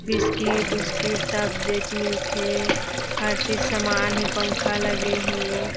Biscuit उस्किट सब जेट मिल थे हर चीज सामान हे पंखा लगे हे।